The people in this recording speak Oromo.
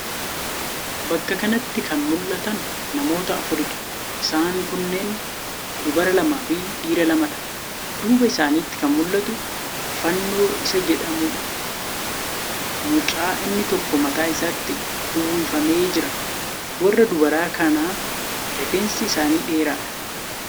Bakka kanatti kan mullatan namoota afuriidha. Isaan kunneen dubara lamaafi dhiira lamadha. duuba isaaniitti kan mullatu fannoo Isa jedhamuudha mucaa inni tokko mataa isaatti uwwifamee jira. Warra dubaraa kana rifeensi isaanii dheeraadha.